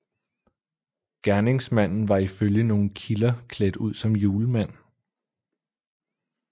Gerningsmanden var ifølge nogle kilder klædt ud som julemand